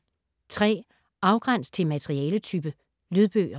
Afgræns til materialetype: lydbøger